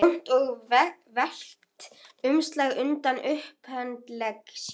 Mamma staðnæmist andartak, horfir á þær.